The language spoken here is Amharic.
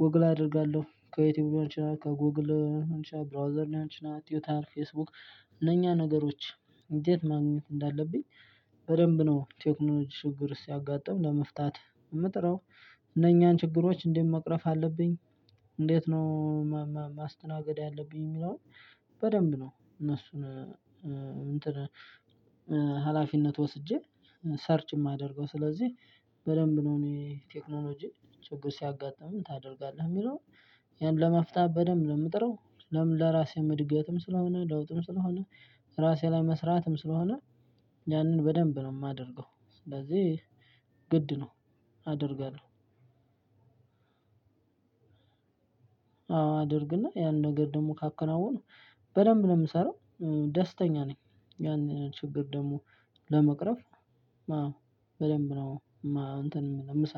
ጎግል አደርጋለሁ ከዩቲዩብ ሊሆን ይችላል ከጎግል ሊሆን ይችላል ብራውዘር ሊሆን ይችላል። ቲውተር ፌስቡክ እነኛ ነገሮች እንዴት ማግኘት እንዳለብኝ። በደንብ ነው ቴክኖሎጂ ችግር ውስጥ ሲያጋጥም ለመፍታት የምጥረው። እነኛን ችግሮች እንዴት መቅረፍ አለብኝ እንዴት ነው ማስተናገድ ያለብኝ የሚለውን። በደንብ ነው እነሱን እንትን ሀላፊነት ወስጄ ሰርች የማደርገው ስለዚህ በደንብ ነው። እኔ ቴክኖሎጂ ችግር ሲያጋጥምህ ምን ታደርጋለህ የሚለው? ያን ለመፍታት በደንብ ነው ምጥረው። ለምን ለራሴም እድገትም ስለሆነ ለውጥም ስለሆነ። ራሴ ላይ መስራትም ስለሆነ። ያንን በደንብ ነው የማደርገው ስለዚህ ግድ ነው አደርጋለሁ። አዎ አደርግና ያን ነገር ደግሞ ካከናወነ በደንብ ነው የምሰራው። ደስተኛ ነኝ። ያንን ችግር ደግሞ ለመቅረፍ አው በደንብ ነው። እንትን የምሰራው